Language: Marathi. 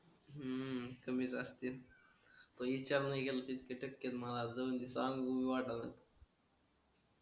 हम्म कमिस असते.